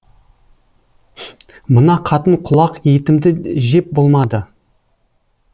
мына қатын құлақ етімді жеп болмады